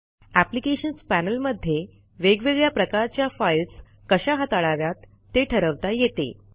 applications panel मध्ये वेगवेगळ्या प्रकारच्या फाईल्स कशा हाताळाव्यात ते ठरवता येते